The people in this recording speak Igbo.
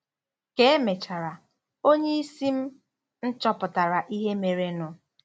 Ka e mechara, onye isi m m chọpụtara ihe merenụ.